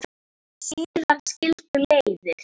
Síðan skildu leiðir.